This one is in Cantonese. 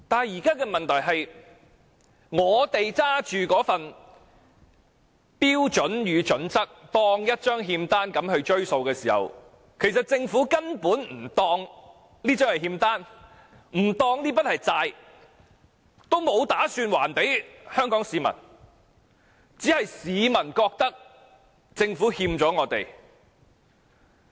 現在的問題是，市民把《規劃標準》當作一張欠單向政府追數，但其實政府根本不當《規劃標準》是欠單，不當這筆是債，所以它沒有打算向香港市民還債，只是市民覺得政府欠了我們。